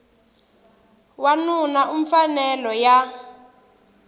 wana u na mfanelo ya